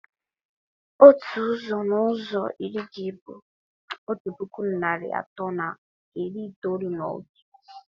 Otu ụzọ n'ụzọ iri gị bụ otu puku naịra atọ na iri itoolu na otu.